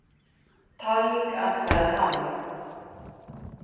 Talning atkvæða hafin